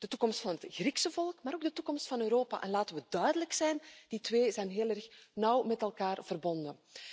De toekomst van het Griekse volk, maar ook de toekomst van Europa, en laten we duidelijk zijn, die twee zijn heel nauw met elkaar verbonden.